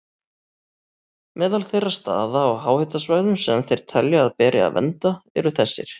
Meðal þeirra staða á háhitasvæðum sem þeir telja að beri að vernda eru þessir